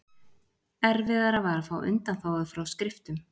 Erfiðara var að fá undanþágu frá skriftum.